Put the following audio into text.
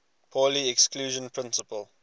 pauli exclusion principle